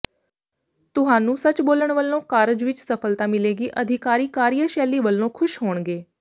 ਤੁਹਾਨੂੰ ਸੱਚ ਬੋਲਣ ਵਲੋਂ ਕਾਰਜ ਵਿੱਚ ਸਫਲਤਾ ਮਿਲੇਗੀ ਅਧਿਕਾਰੀ ਕਾਰਿਆਸ਼ੈਲੀ ਵਲੋਂ ਖੁਸ਼ ਹੋਣਗੇ